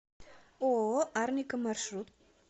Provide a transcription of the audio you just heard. ооо арника маршрут